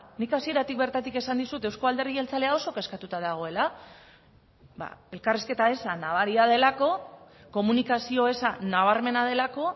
nik hasieratik bertatik esan dizut euzko alderdi jeltzalea oso kezkatuta dagoela elkarrizketa eza nabaria delako komunikazio eza nabarmena delako